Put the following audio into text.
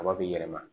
Kaba bɛ yɛlɛma